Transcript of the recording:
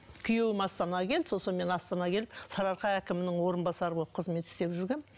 күйеуім астанаға келді сосын мен астанаға келіп сарыарқа әкімінің орынбасары болып қызмет істеп жүргенмін